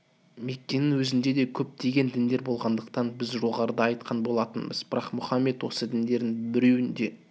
меккенің өзінде де көптеген діндер болғандығын біз жоғарыда айтқан болатынбыз бірақ мұхаммед осы діндердің біреуін де